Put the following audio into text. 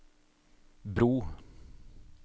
bro